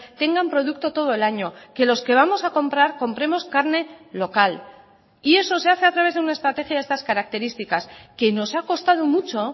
tengan producto todo el año que los que vamos a comprar compremos carne local y eso se hace a través de una estrategia de estas características que nos ha costado mucho